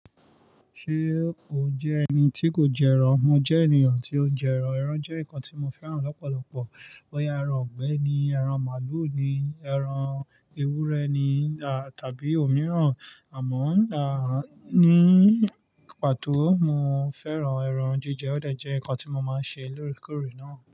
Ṣé o jẹ́ ẹni tí kò jẹ ẹran? Mo jẹ́ ènìyàn tí ó ń jẹ ẹran. Ẹran jẹ́ nǹkan tí mo fẹ́ràn lọ́pọ̀lọpọ̀, boya ẹran igbẹ̀ ni, ẹran màlúù ni, ẹran ewúrẹ́ ni tàbí òmíràn, àmọ́ ní pàtó, mo fẹ́ràn ẹran jíjẹ. Ó dè jẹ́ nǹkan tí mo máa ń ṣe lóòrèkóòrè náà.